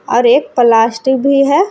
और एक प्लास्टिक भी है।